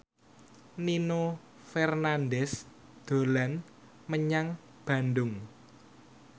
Nino Fernandez dolan menyang Bandung